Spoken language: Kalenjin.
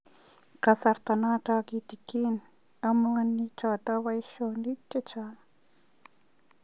kasarta noto kitinye homoniik choto boisyonik chechaang